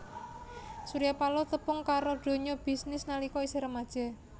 Surya Paloh tepung karo donya bisnis nalika isih remaja